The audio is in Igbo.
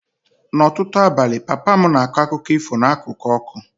N'ọtụtụ abalị, papa m na-akọ akụkọ ifo n'akụkụ ọkụ